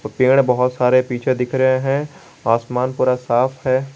पेड़ बहोत सारे पीछे दिख रहे हैं आसमान पूरा साफ है।